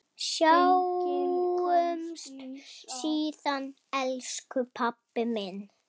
Sjáumst síðar, elsku pabbi minn.